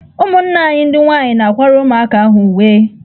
Ụmụnna anyị ndị nwaanyị na-akwara ụmụaka ahụ uwe.